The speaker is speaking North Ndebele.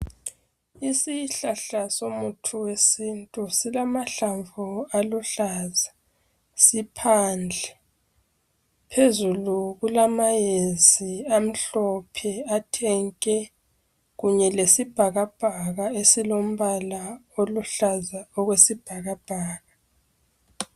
isihklahla somuthi wesintu silamahlamvu aluhlaza siphandle phezulu kulama yezi amhlope athe nke kanye lesibhakabhaka esilombala oluhlaza okwesibhakabhaka